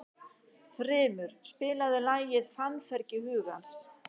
Þrymur, spilaðu lagið „Fannfergi hugans“.